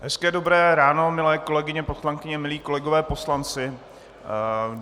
Hezké dobré ráno, milé kolegyně poslankyně, milí kolegové poslanci.